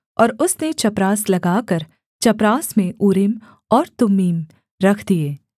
और उसने चपरास लगाकर चपरास में ऊरीम और तुम्मीम रख दिए